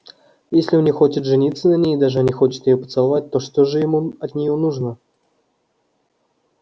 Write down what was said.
если он не хочет жениться на ней и даже не хочет её поцеловать то что же ему от неё нужно